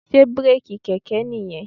Sé bírèkì kẹ̀kẹ́ nìyẹn?